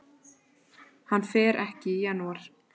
Hann fer ekki í janúar.